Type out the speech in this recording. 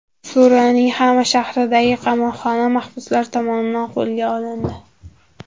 Suriyaning Xama shahridagi qamoqxona mahbuslar tomonidan qo‘lga olindi.